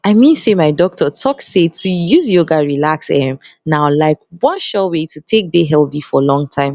i mean say my doctor talk say to use use yoga relax erm na like one sure wey to take dey healthy for long time